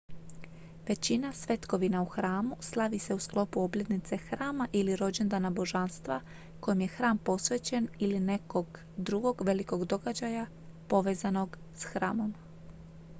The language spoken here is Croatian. većina svetkovina u hramu slavi se u sklopu obljetnice hrama ili rođendana božanstva kojem je hram posvećen ili nekog drugog velikog događaja povezanog s hramom